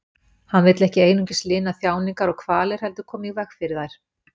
Hann vill ekki einungis lina þjáningar og kvalir heldur koma í veg fyrir þær.